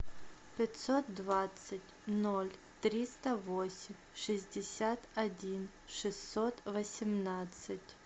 пятьсот двадцать ноль триста восемь шестьдесят один шестьсот восемнадцать